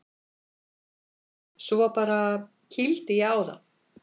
Svo bara. kýldi ég á það.